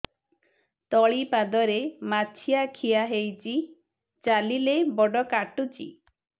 ତଳିପାଦରେ ମାଛିଆ ଖିଆ ହେଇଚି ଚାଲିଲେ ବଡ଼ କାଟୁଚି